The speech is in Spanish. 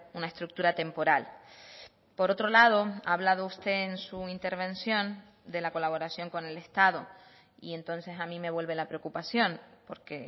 una estructura temporal por otro lado ha hablado usted en su intervención de la colaboración con el estado y entonces a mí me vuelve la preocupación porque